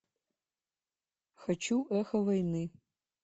хочу эхо войны